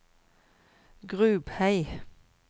Grubhei